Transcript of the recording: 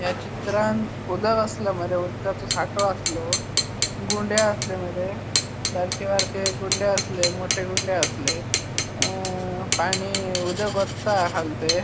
या चित्रांत उदक आसले मरे उदकाचो साठो आस्लो गुंडे आसले मरे मोठे मोठे गुंडे आसले मोठे गुंडे आसले अ आणि उदक वत्ता खालते.